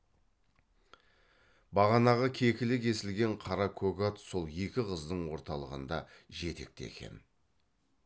бағанағы кекілі кесілген қара көк ат сол екі қыздың орталығында жетекте екен